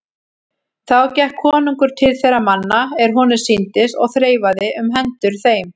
Þá gekk konungur til þeirra manna er honum sýndist og þreifaði um hendur þeim.